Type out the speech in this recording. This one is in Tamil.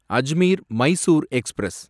அஜ்மீர் மைசூர் எக்ஸ்பிரஸ்